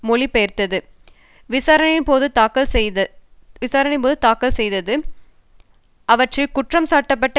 மொழி பெயர்த்து விசாணையின் போது தாக்கல் செய்தது அவற்றில் குற்றம் சாட்டப்பட்ட